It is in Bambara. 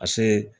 Ka se